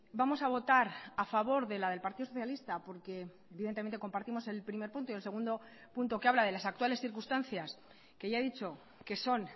vamos a votar a favor de la del partido socialista porque evidentemente compartimos el primer punto y el segundo punto que habla de las actuales circunstancias que ya he dicho que son